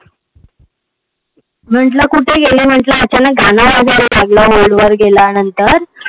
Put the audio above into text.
म्हटल कुठ गेली म्हटल आता अचानक गाण वाजायला लागलं. Hold वर गेल्यानंतर